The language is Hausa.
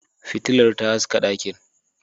Fitilar ta haska dakin.